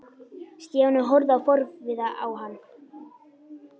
Stjáni horfði forviða á hann.